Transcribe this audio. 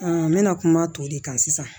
n bɛna kuma tɔw de kan sisan